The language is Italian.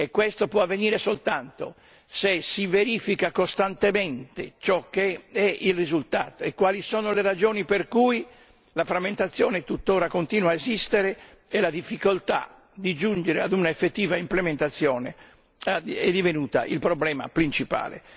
Questo può avvenire soltanto se si verifica costantemente ciò che è il risultato e quali sono le ragioni per cui la frammentazione tutt'ora continua ad esistere e la difficoltà di giungere ad un'effettiva implementazione è divenuta il problema principale.